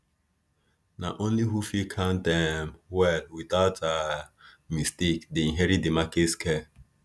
na only who fit count um well without um mistake dey inherit di market scale